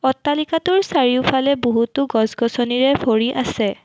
অট্টালিকাটোৰ চাৰিওফালে বহুতো গছ গছনিৰে ভৰি আছে।